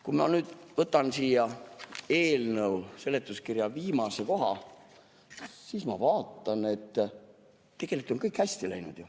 Kui ma nüüd võtan selle eelnõu seletuskirja viimase koha, siis ma vaatan, et tegelikult on ju kõik hästi läinud.